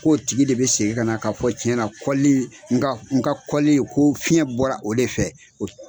k'o tigi de be segin ka na k'a fɔ tiɲɛna kɔli n ka n ka kɔli ko fiɲɛ bɔra o de fɛ, o